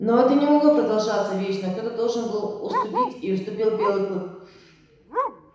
но это не могло продолжаться вечно кто то должен был уступить и уступил белый клык